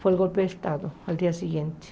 Foi o golpe de Estado, no dia seguinte.